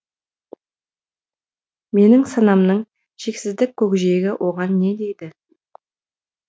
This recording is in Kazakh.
менің санамның шексіздік көкжиегі оған не дейді